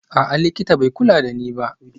A'a, likita bai kula da ni ba